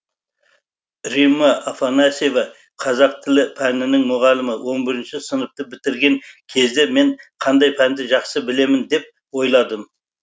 римма афанасьева қазақ тілі пәнінің мұғалімі он бірінші сыныпты бітірген кезде мен қандай пәнді жақсы білемін деп ойладым